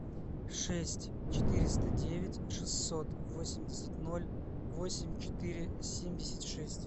шесть четыреста девять шестьсот восемьдесят ноль восемь четыре семьдесят шесть